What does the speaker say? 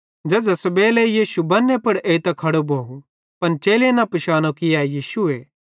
झ़ेझ़ां सुबेलो यीशु बन्ने पुड़ एइतां खड़ो भोव पन चेलेईं न पिशानो कि ए यीशुए